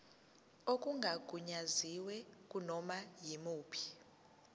okungagunyaziwe kunoma yimuphi